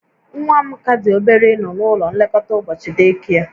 Nwa m ka dị obere ịnọ n'ụlọ nlekọta ụbọchị day care